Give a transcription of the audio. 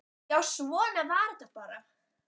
Já, svona var þetta bara.